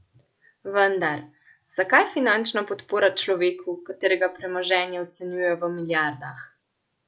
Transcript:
Vendar, zakaj finančna podpora človeku, katerega premoženje ocenjujejo v milijardah?